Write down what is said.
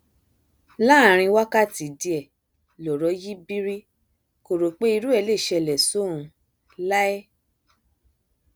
láàrin wákàtí díẹ lọrọ yí bírí kò rò pé irú ẹ lè ṣẹlẹ sóun láé